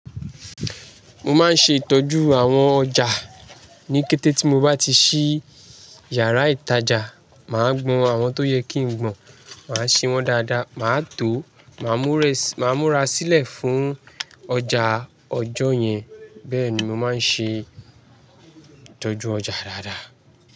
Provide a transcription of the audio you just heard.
Mo máa ń ṣe ìtọ́jú àwọn ọjà. Ni kété ti mo bá ti ṣí yàrá ìtajà, màá gbọn àwọn tó yẹ kí n gbọn, màá ṣe wọ́n dáadáa, màá tó, màá múra sílẹ̀ fún ọjà ọjọ́ yẹn. Bẹ́ẹ̀ ni màá ṣe tọ́jú ọjà dáadáa.